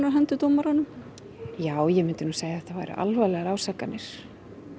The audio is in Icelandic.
á hendur dómaranum já ég mundi nú segja að þetta væru alvarlegar ásakanir